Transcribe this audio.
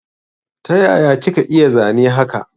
Taya kika iya zane haka?